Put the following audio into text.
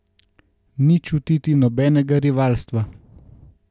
Ni čutiti nobenega rivalstva.